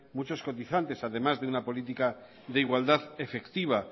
muchos cotizantes además de una política de igualdad efectiva